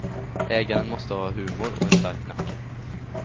Ägaren måste ha humor och en stark nacke.